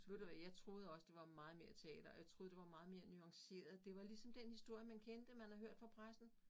Ved du hvad jeg troede også det var meget mere teater og jeg troede det var meget mere nuanceret det var ligesom den historie man kendte man havde hørt fra pressen